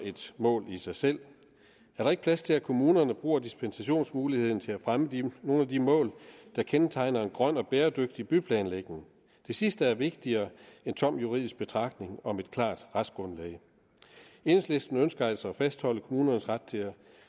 et mål i sig selv er der ikke plads til at kommunerne bruger dispensationsmuligheden til at fremme nogle af de mål der kendetegner en grøn og bæredygtig byplanlægning det sidste er vigtigere end tomme juridisk betragtninger om et klart retsgrundlag enhedslisten ønsker altså at fastholde kommunernes ret til at